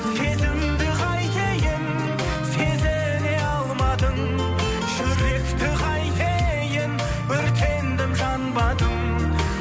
сезімді қайтейін сезіне алмадың жүректі қайтейін өртендім жанбадым